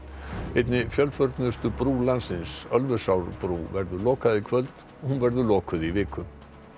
einni fjölförnustu brú landsins Ölfusárbrú verður lokað í kvöld hún verður lokuð í viku